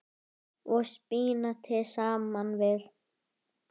og spínati saman við.